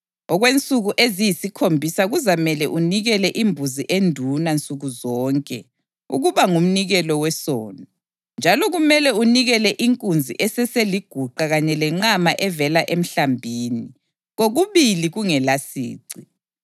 Okwensuku eziyisikhombisa kuzamele unikele imbuzi enduna nsuku zonke ukuba ngumnikelo wesono; njalo kumele unikele inkunzi eseseliguqa kanye lenqama evela emhlambini, kokubili kungelasici.